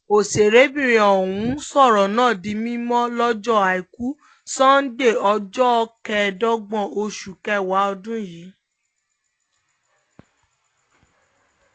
ọ̀sẹ̀rẹ̀bìrin ọ̀hún sọ̀rọ̀ náà di mímọ́ lọ́jọ́ àìkú sànńdẹ̀ẹ́ ọjọ́ kẹẹ̀ẹ́dógún oṣù kẹwàá ọdún yìí